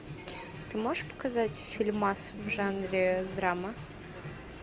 ты можешь показать фильмас в жанре драма